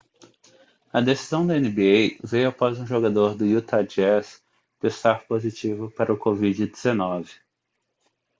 a decisão da nba veio após um jogador do utah jazz testar positivo para o covid-19